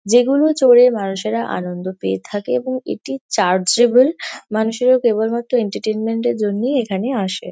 যেগুলো চড়ে মানুষেরা আনন্দ পেয়ে থাকে এবং এটি চার্জেবল । মানুষেরা কেবলমাত্র এন্টারটেনমেন্ট -এর জন্যই এখানে আসে।